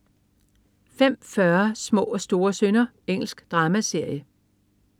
05.40 Små og store synder. Engelsk dramaserie